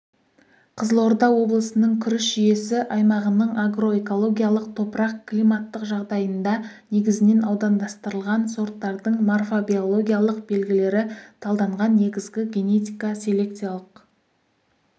қызылорда облысының күріш жүйесі аймағының агроэкологиялық топырақ-климаттық жағдайында негізінен аудандастырылған сорттардың морфо-биологиялық белгілері талданған негізгі генетика-селекциялық